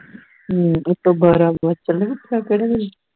ਹਮ ਉਤੋਂ ਚੱਲੇ ਪਤਾ ਨਹੀਂ ਕਿਹੜੇ ਵੇਲੇ